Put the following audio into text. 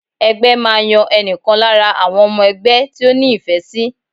Ẹgbẹ́ máa yan ẹnìkan lára àwọn ọmọ ẹgbẹ́ tí ó ní ìfẹ́ sì.